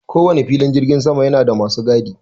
Ko wane filin jirgin sama yana da masu gadi.